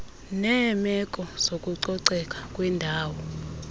neemeko zokucoceka kwendawo